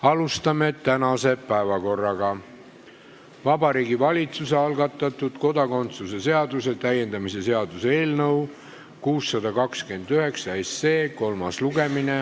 Alustame tänase päevakorra arutamist: Vabariigi Valitsuse algatatud kodakondsuse seaduse täiendamise seaduse eelnõu 629 kolmas lugemine.